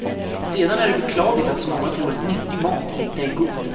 Sedan är det beklagligt att så många tror att nyttig mat inte är god.